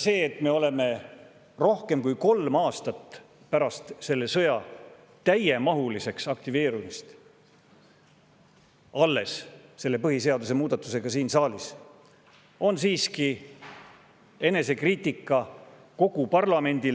See, et me oleme alles rohkem kui kolm aastat pärast selle sõja täiemahuliseks aktiveerumist selle põhiseaduse muudatusega siin saalis, on siiski kogu parlamendi,